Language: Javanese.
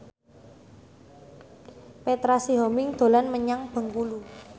Petra Sihombing dolan menyang Bengkulu